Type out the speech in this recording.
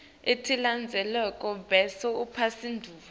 letilandzelako bese uphendvula